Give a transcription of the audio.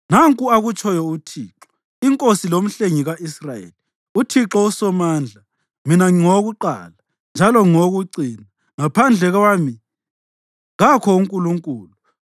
“Nanku akutshoyo uThixo, iNkosi loMhlengi ka-Israyeli, uThixo uSomandla: Mina ngingowokuqala njalo ngingowokucina; ngaphandle kwami kakho uNkulunkulu.